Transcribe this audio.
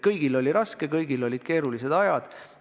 Kõigil oli raske, kõigil olid keerulised ajad.